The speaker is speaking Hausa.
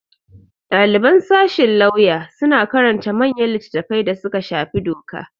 Ɗaliban sashin lauya suna karanta manyan litattafai da suka shafi doka.